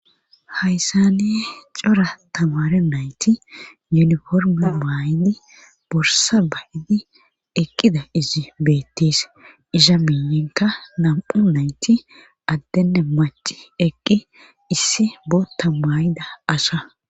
hayssani cora tamaare nayti uniforme mayidi borssa ba7idi eqqida izi beettes;iza miyenkka nam7u nayti addenne macci eqqi issi bootta maayida asa.